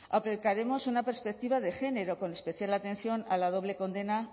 aplicaremos una perspectiva de género con especial atención a la doble condena